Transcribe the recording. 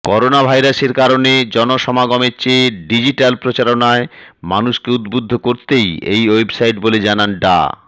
corona ভাইরাসের কারণে জনসমাগমের চেয়ে ডিজিটাল প্রচারণায় মানুষকে উদ্বুদ্ধ করতেই এ ওয়েবসাইট বলে জানান ডা